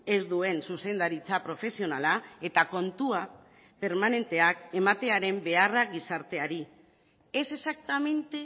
ez duen zuzendaritza profesionala eta kontua permanenteak ematearen beharra gizarteari es exactamente